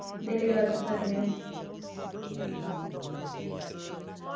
Daily ਵਰਤ ਸਕਦੇ ਹਾ।